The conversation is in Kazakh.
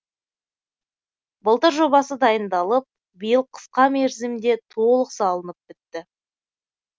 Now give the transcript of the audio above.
былтыр жобасы дайындалып биыл қысқа мерзімде толық салынып бітті